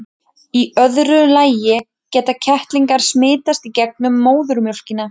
í öðru lagi geta kettlingar smitast í gegnum móðurmjólkina